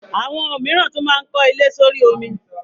Awọn omiran tun maa n ko ile s'ori omi